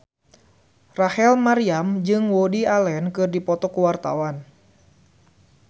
Rachel Maryam jeung Woody Allen keur dipoto ku wartawan